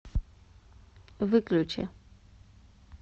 выключи